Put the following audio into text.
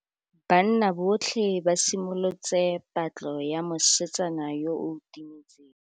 Banna botlhê ba simolotse patlô ya mosetsana yo o timetseng.